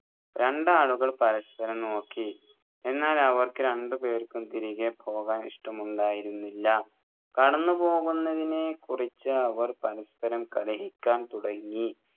രണ്ടാടുകൾ പരസ്പരം നോക്കി എന്നാൽ അവർക്ക് രണ്ടുപേർക്കും തിരികെ പോകാൻ ഇഷ്ടമുണ്ടായിരുന്നില്ല കടന്നു പോവുന്നതിനെ കുറിച്ച് അവർ പരസ്പരം കലഹിക്കാൻ തുടങ്ങി